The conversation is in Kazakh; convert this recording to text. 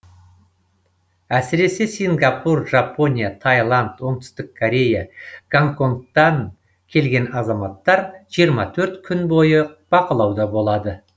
әсіресе сингапур жапония таиланд оңтүстік корея гонконгтан келген азаматтар жиырма төрт күн бойы бақылауда болады